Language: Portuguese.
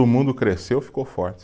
Mundo cresceu, ficou forte.